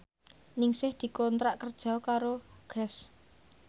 Ningsih dikontrak kerja karo Guess